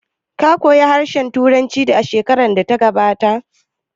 Ka koya harshen Turanci shekarar da ta gabata?